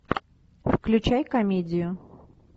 включай комедию